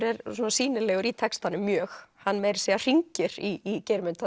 er sýnilegur í textanum mjög hann meira að segja hringir í Geirmund